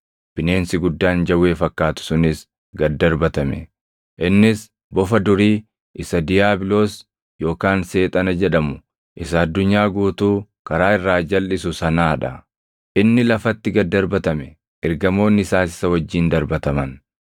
Bineensi guddaan jawwee fakkaatu sunis gad darbatame; innis bofa durii isa diiyaabiloos yookaan Seexana jedhamu, isa addunyaa guutuu karaa irraa jalʼisu sanaa dha. Inni lafatti gad darbatame; ergamoonni isaas isa wajjin darbataman.